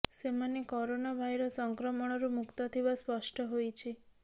ସେମାନେ corona virus ସଂକ୍ରମଣରୁ ମୁକ୍ତ ଥିବା ସ୍ପଷ୍ଟ ହୋଇଛି